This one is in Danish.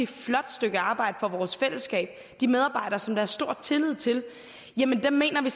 flot stykke arbejde for vores fællesskab de medarbejdere som der er stor tillid til jamen dem mener vi